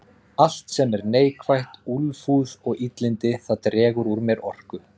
Allt sem er neikvætt, úlfúð og illindi, það dregur úr mér orku.